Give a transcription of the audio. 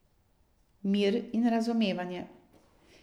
Mir in razumevanje.